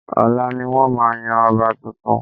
Ọ̀la ni wọ́n máa yan ọba tuntun